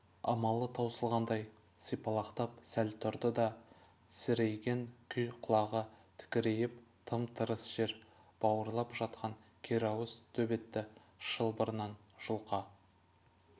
амалы таусылғандай сипалақтап сәл тұрды да тесірейген күй құлағы тікірейіп тым-тырыс жер бауырлап жатқан керауыз төбетті шылбырынан жұлқа